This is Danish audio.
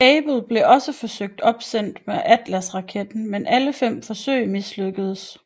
Able blev også forsøgt opsendt med Atlasraketten men alle fem forsøg mislykkedes